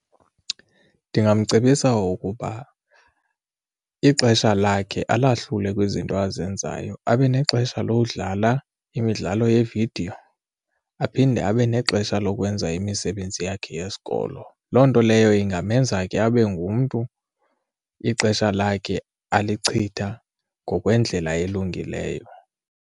Ndingamcebisa ukuba ixesha lakhe alahlule kwizinto azenzayo, abe nexesha lowudlala imidlalo yeevidiyo aphinde abe nexesha lokwenza imisebenzi yakhe yesikolo. Loo nto leyo ingamenza ke abe ngumntu ixesha lakhe alichitha ngokwendlela elungileyo.